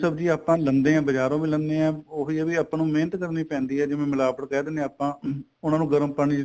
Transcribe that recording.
ਸਬਜੀ ਆਪਾਂ ਲੈਂਦੇ ਆ ਬਜਾਰੋ ਵੀ ਲੈਂਨੇ ਆ ਉਹੀ ਏ ਵੀ ਆਪਾਂ ਨੂੰ ਮਿਹਨਤ ਕਰਨੀ ਪੈਂਦੀ ਏ ਜਿਵੇਂ ਮਿਲਾਵਟ ਕਹਿ ਦਿਨੇ ਆ ਉਹਨਾ ਨੂੰ ਗਰਮ ਪਾਣੀ ਚ